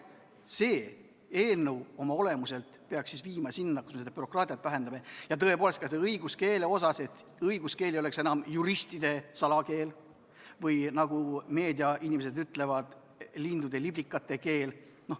See eelnõu peaks viima bürokraatia vähendamiseni, ka õiguskeele osas, nii et õiguskeel ei oleks enam juristide salakeel või, nagu meediainimesed ütlevad, lindude ja liblikate keel.